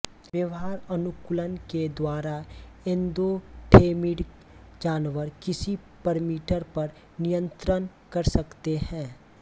व्यवहार अनुकूलन के द्वारा एन्दोठेर्मिक जानवर किसी परमीटर पर नियंत्रण कर सकते है